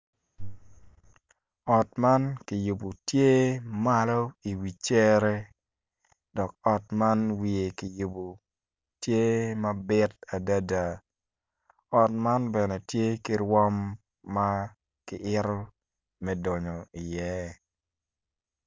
Ot man kiyubu tye malo i wi cere dok ot man wiye kiyubu tye mabit adada ot man bene tye ki rwom ma ki ito me dunyo iye